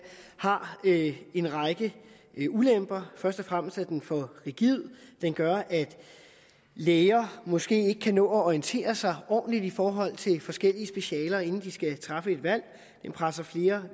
har en række ulemper først og fremmest er den for rigid den gør at læger måske ikke kan nå at orientere sig ordentligt i forhold til forskellige specialer inden de skal træffe et valg den presser flere